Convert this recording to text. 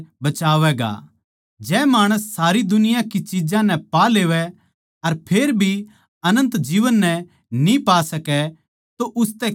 जै माणस सारी दुनिया की चिज्जां नै पा लेवै अर फेर भी अनन्त जीवन नै न्ही पावै सकै तो उसतै के फैयदा होगा